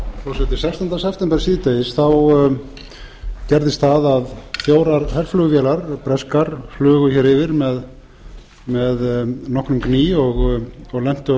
forseti sextánda september síðdegis gerðist það að fjórar herflugvélar breskar flugu hér yfir með nokkrum gný og lentu